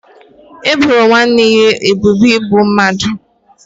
E boro nwanne ya ebubo igbu mmadụ